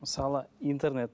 мысалы интернет